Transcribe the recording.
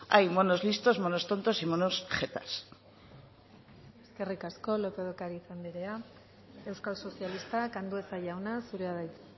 hay monos listos monos tontos y monos jetas eskerrik asko lópez de ocariz andrea euskal sozialistak andueza jauna zurea da hitza